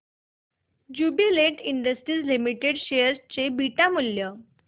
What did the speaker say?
Jubilant industries limited share चे beta मूल्य